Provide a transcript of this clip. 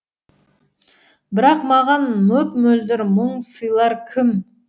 бірақ маған мөп мөлдір мұң сыйлар кім